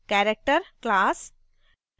character class